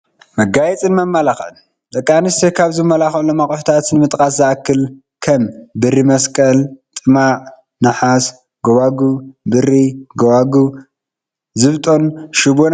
መጋየፅን መመላኽዕን፡- ደቂ ኣንስትዮ ካብ ዝመላኻዓሎም ኣቑሑታት ንምጥቃስ ዝኣክል፡- ከም ብሪ መስቀል፣ ጥማዕ ናሓስ ጎባጉብ፣ ብሪ ጎባጉብ ፣ ዝብጦን ሽቦ ናይ ኢድን፡፡